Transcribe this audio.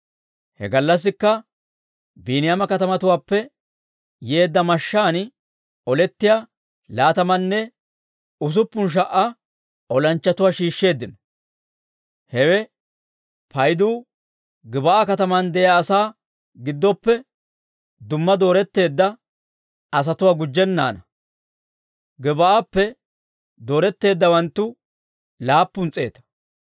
He gallassikka Biiniyaama katamatuwaappe yeedda mashshaan olettiyaa laatamaanne usuppun sha"a olanchchatuwaa shiishsheeddino. Hewaa paydu Gib'aa katamaan de'iyaa asaa giddoppe dumma dooretteedda asatuwaa gujjennaana. Gib'aappe dooretteeddawanttu laappun s'eeta.